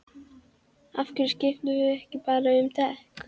Af hverju skiptirðu ekki bara um dekk?